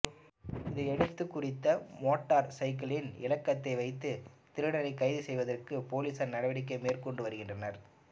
இதையடுத்து குறித்த மோட்டார் சைக்கிலின் இலக்கத்தை வைத்து திருடனைக்கைது செய்வதற்கு பொலிசார் நடவடிக்கை மேற்கொண்டு வருகின்றனர்